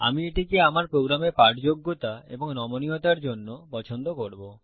আমি এটিকে আমার প্রোগ্রামে পাঠযোগ্যতা এবং নমনীয়তার জন্য পছন্দ করবো